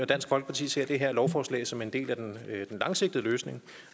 dansk folkeparti ser det her lovforslag som en del af den langsigtede løsning